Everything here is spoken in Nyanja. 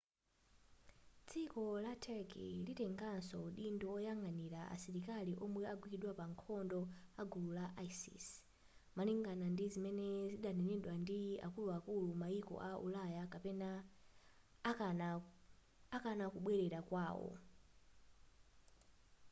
dziko la turkey litengaso udindo woyang'anira asilikali omwe agwidwa pa nkhondo agulu la isis malingana ndi zimene zinadanenedwa ndi akuluakulu mayiko aku ulaya akana kubwerera kwawo